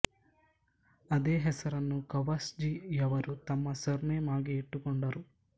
ಅದೇ ಹೆಸರನ್ನು ಕವಾಸ್ ಜಿ ಯವರು ತಮ್ಮ ಸರ್ ನೇಮ್ಆಗಿ ಇಟ್ಟುಕೊಂಡರು